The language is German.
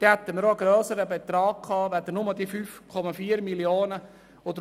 Dann hätten wir auch einen grösseren Betrag zur Verfügung als nur die 5,4 Mio. Franken.